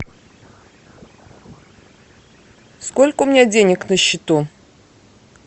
сколько у меня денег на счету